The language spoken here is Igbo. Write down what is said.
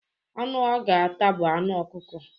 Anụ ọ ga-ata bụ anụ okụko.